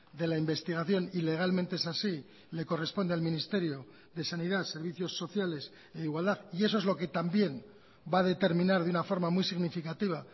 de la investigación y legalmente es así le corresponde al ministerio de sanidad servicios sociales e igualdad y eso es lo que también va a determinar de una forma muy significativa